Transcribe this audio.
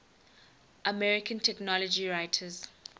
american technology writers